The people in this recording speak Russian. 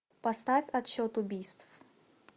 поставь отсчет убийств